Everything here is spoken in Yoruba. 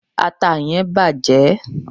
ata yen bàjé